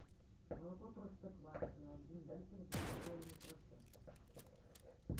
молоко простоквашино один литр два с половиной процента